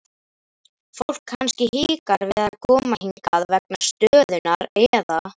Fólk kannski hikar við koma hingað vegna stöðunnar eða?